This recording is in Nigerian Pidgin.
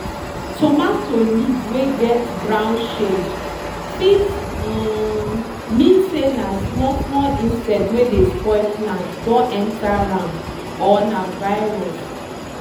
tomato leaf wey get brown shade fit um mean say small small insect wey dey spoil plant don enter am or na virus.